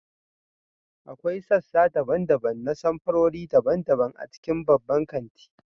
akwai sassa daban-daban na samfurori daban-daban a cikin babban kanti